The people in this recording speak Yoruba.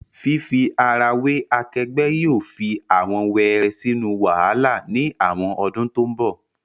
Fifi ara we akegbe yóò fi awọn wẹrẹ sinu wahala ni awọn odun to nbo